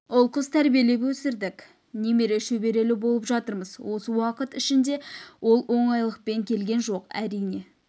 ұл қыз тәрбиелеп өсірдік немере шөберелі болып жатырмыз осы уақыт ішінде ол оңайлықпен келген жоқ әрине